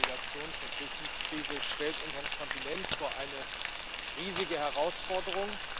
Die Migrations und Flüchtlingskrise stellt unseren Kontinent vor eine riesige Herausforderung.